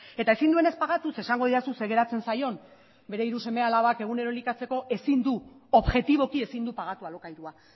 eta ezin duenez pagatu zeren esango didazu zer geratzen zaion bere hiru seme alabak egunero elikatzeko objetiboki ezin du pagatu alokairua